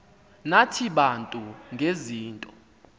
nathi bantu ngezinto